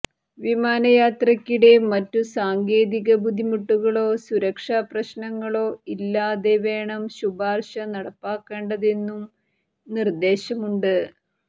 വിമാനയാത്രയ്ക്കിടെ മറ്റു സാങ്കേതിക ബുദ്ധിമുട്ടുകളോ സുരക്ഷാപ്രശ്നങ്ങളോ ഇല്ലാതെ വേണം ശുപാര്ശ നടപ്പാക്കേണ്ടതെന്നും നിര്ദേശമുണ്ട്